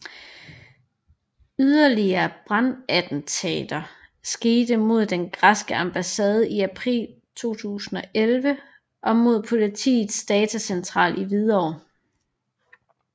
Yderligere brandattentater skete mod den græske ambassade i april 2011 og mod politiets datacentral i Hvidovre